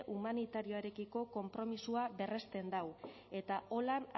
humanitarioarekiko konpromisoa berresten dau eta holan